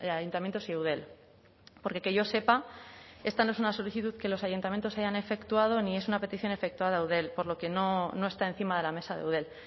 ayuntamientos y eudel porque que yo sepa esta no es una solicitud que los ayuntamientos hayan efectuado ni es una petición efectuada a eudel por lo que no está encima de la mesa de eudel